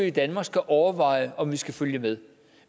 i danmark skal overveje om vi skal følge med